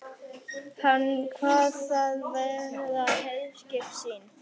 Hann kvað það vera herskip sín.